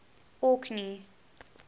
orkney